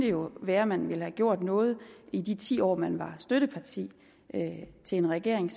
jo være man ville have gjort noget i de ti år man var støtteparti til en regering